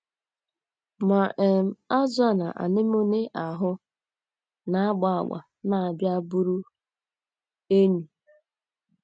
Ma um, azụ̀ a na anemone ahụ na - agba agba na - abịa bụrụ enyi.